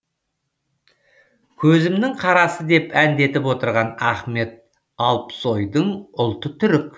көзімінің қарасы деп әндетіп отырған ахмет алпсойдың ұлты түрік